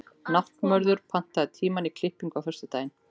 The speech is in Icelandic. Náttmörður, pantaðu tíma í klippingu á föstudaginn.